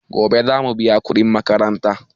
Gobe zamu biya kuɗin makaranta.